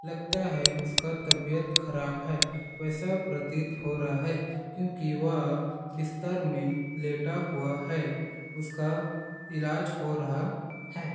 लगता है उसका तबीयत ख़राब है वैसा प्रतीत हो रह है क्यूंकि व बिस्तर में लेटा हुआ है उसका ईलाज हो रहा है।